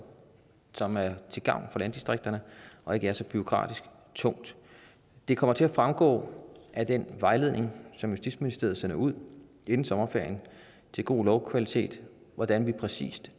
som er til gavn for landdistrikterne og ikke er så bureaukratisk tungt det kommer til at fremgå af den vejledning som justitsministeriet sender ud inden sommerferien til god lovkvalitet hvordan vi præcis